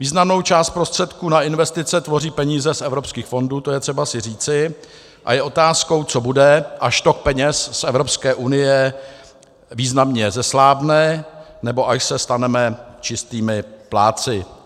Významnou část prostředků na investice tvoří peníze z evropských fondů, to je třeba si říci, a je otázkou, co bude, až tok peněz z Evropské unie významně zeslábne nebo až se staneme čistými plátci.